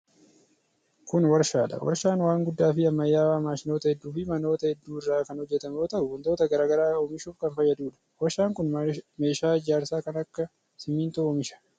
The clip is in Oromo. Kun warshaa dha. Warshaan waan guddaa fi ammayyawaa maashinoota hedduu fi manoota hedduu irraa kan hojjatamu yoo ta'u, wantoota garaa garaa oomishuuf kan fayyaduu dha. Warshaan kun meeshaa ijaarsaa kan akka simiintoo oomisha.